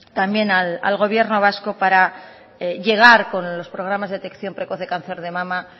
también al gobierno vasco para llegar con los programas de detección precoz de cáncer de mama